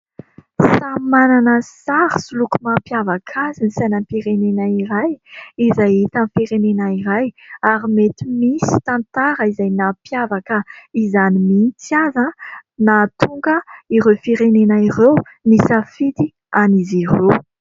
Samy manana sary sy loko mampiavaka azy ny sainam-pirenena iray, izay hita amin'ny firenena iray. Ary mety misy tantara izay nampiavaka izany mintsy aza nahatonga an'ireo firenena ireo nisafidy an'izy ireo.